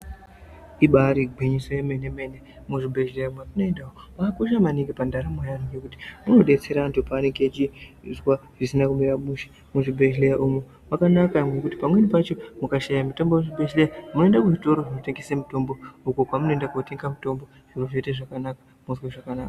Ibari gwinyiso remenemene muzvibhehleya mwatinoenda umu mwakosha maningi pandaramo yeanhu ngekuti zvinodetsera anhu paanenge achizwa zvisina kumira mushe muzvibhehleya umwu mwakanaka ngokuti pamweni pacho mukashaye mitombo kuzvibhehleya munoende kuzvitoro zvinotengese mitombo uko kwamunoenda kunotenge mutombo zviro zvoite zvakanaka mwozwe zvakanaka.